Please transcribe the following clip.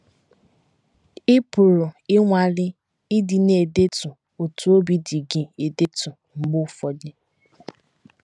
Ị pụrụ ịnwale ịdị na - edetu otú obi dị gị edetu mgbe ụfọdụ.